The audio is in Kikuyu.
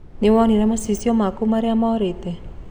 Nĩwaona macicio maku maria marorĩte